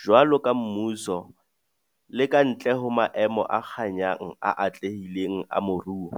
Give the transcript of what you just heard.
Jwaloka mmuso, le ka ntle ho maemo a kganyang a atlehileng a moruo,